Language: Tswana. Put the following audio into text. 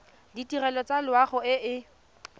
ditirelo tsa loago e e